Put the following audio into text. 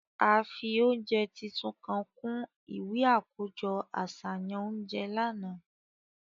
A fi ounjẹ titun kan kun iwe akojọ aṣayan ounjẹ làná.